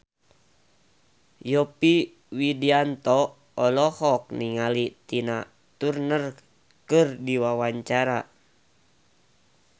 Yovie Widianto olohok ningali Tina Turner keur diwawancara